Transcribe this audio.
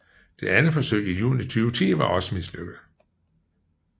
Det andet forsøg i juni 2010 var også mislykket